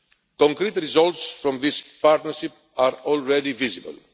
Concrete results from this partnership are already visible.